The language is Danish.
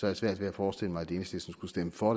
jeg svært ved at forestille mig at enhedslisten skulle stemme for